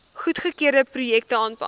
goedgekeurde projekte aanpak